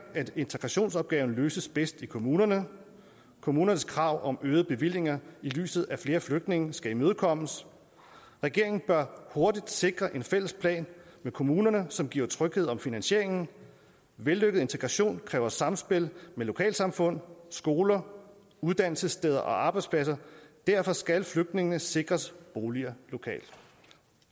at integrationsopgaven løses bedst i kommunerne kommunernes krav om øgede bevillinger i lyset af flere flygtninge skal imødekommes regeringen bør hurtigt sikre en fælles plan med kommunerne som giver tryghed om finansieringen vellykket integration kræver samspil med lokalsamfund skoler uddannelsessteder og arbejdspladser derfor skal flygtningene sikres boliger lokalt